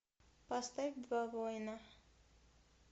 поставь два воина